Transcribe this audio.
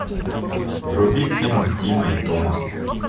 вруби фильм тима и тома